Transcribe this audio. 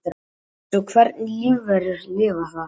Ef svo er hvernig lífverur lifa þar?